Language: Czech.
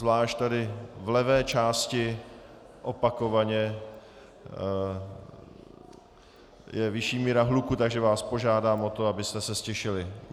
Zvlášť tady v levé části opakovaně je vyšší míra hluku, takže vás požádám o to, abyste se ztišili.